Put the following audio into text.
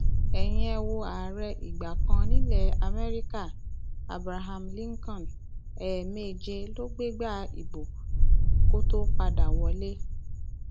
ẹyin ẹ wo ààrẹ ìgbà kan nílẹ amẹríkà abraham lincoln ẹẹméje ló gbégbá ìbò kó tóó padà wọlé